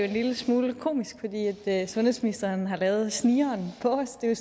lille smule komisk fordi sundhedsministeren har lavet snigeren på os det er